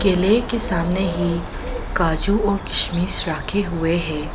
केले के सामने ही काजू और किशमिश राखे हुए हैं।